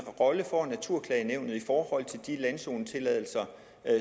rolle får naturklagenævnet så i forhold til de landzonetilladelser